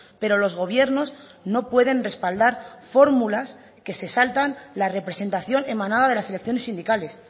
pero los gobiernos no pueden respaldar fórmulas que se saltan la representación emanada de las selecciones sindicales